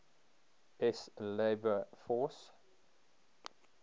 s labor force